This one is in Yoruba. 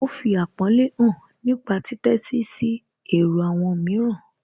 Ó fi àpọ́nlé hàn nípa títẹ́sí sí èrò àwọn mìíràn